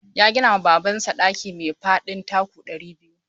Ya gina ma Babansa ɗaki mai faɗin taku ɗari biyu.